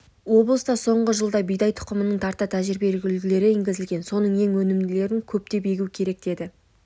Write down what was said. облыста соңғы жылда бидай тұқымының тарта тәжірибелік үлгілері енгізілген соның ең өнімділерін көптеп егу керек деді